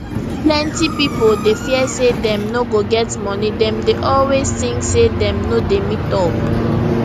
plenty pipo dey fear say dem no go get money dem dey always think say dem no dey meet up